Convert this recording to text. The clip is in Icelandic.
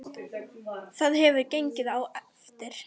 Það hefur ekki gengið eftir.